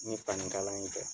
Ni fani kalan in tɛ.